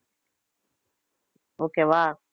okay வா